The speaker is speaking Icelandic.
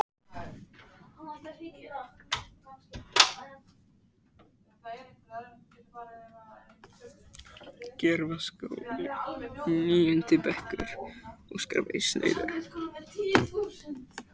Skáldinu létti, líkingin var komin.